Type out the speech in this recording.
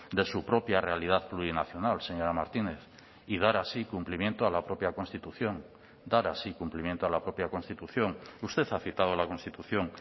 de su propia realidad plurinacional señora martínez y dar así cumplimiento a la propia constitución dar así cumplimiento a la propia constitución usted ha citado la constitución